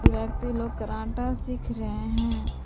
व्यक्ति लोग कराटा सीख रहे हैं।